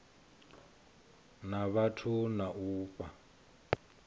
na vhathu na u fha